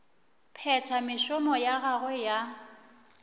phetha mešomo ya gagwe ya